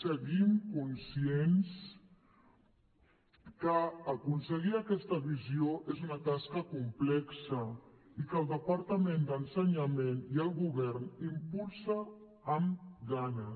seguim conscients que aconseguir aquesta visió és una tasca complexa i que el departament d’ensenyament i el govern impulsa amb ganes